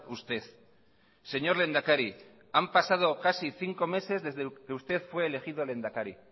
usted señor lehendakari han pasado casi cinco meses desde que usted fue elegido lehendakari